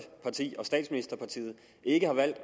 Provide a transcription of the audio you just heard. parti og statsministerpartiet ikke har valgt at